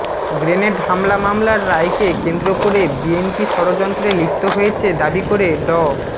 grenade হামলা মামলার রায়কে কেন্দ্র করে বিএনপি ষড়যন্ত্রে লিপ্ত হয়েছে দাবি করে ড